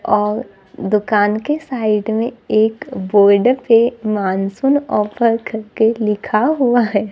और दुकान के साइड में एक बोर्ड पे मानसून ऑफर करके लिखा हुआ है।